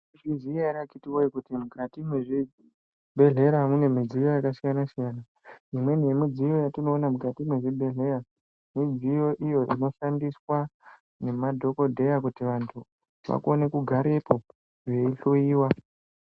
Munoziya ere akiti woye kuti mukati mwezvibhedlera mune midziyo yakasiyana siyana imweni yemidziyo yatinoona mukati mwezvi bhedhlera midziyo inoshandiswa nemadhokodheya kuti vantu vakone kugarepo vei hloyiwa .